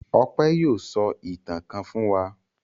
Ọpẹ́ yóò sọ ìtàn kan fún wa.